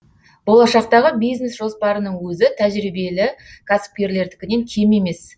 болашақтағы бизнес жоспарының өзі тәжірибелі кәсіпкерлердікінен кем емес